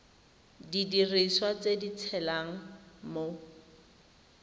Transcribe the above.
didiriswa tse di tshelang mo